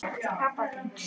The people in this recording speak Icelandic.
Til pabba þíns.